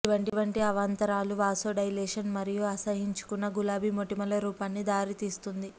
ఇటువంటి అవాంతరాలు వాసోడైలేషన్ మరియు అసహ్యించుకున్న గులాబీ మొటిమల రూపాన్ని దారితీస్తుంది